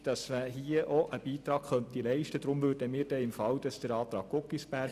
Wir sind der Auffassung, man könne hier einen Beitrag leisten.